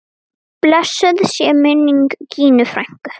Blessuð sé minning Gínu frænku.